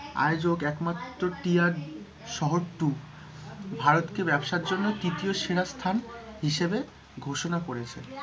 আয়োজক একমাত্র টিয়ার শহর two ভারতকে ব্যবসার জন্য তৃতীয় সেরা স্থান হিসাবে ঘোষনা করেছে,